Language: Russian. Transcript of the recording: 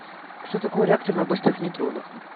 что такое реактор на быстрых нейтронах